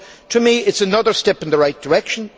So to me it is another step in the right direction